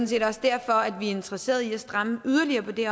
set også derfor at vi er interesserede i at stramme yderligere på det